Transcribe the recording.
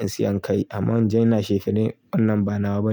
in siya kai. Amma in je ina chefene wannan ba na ba.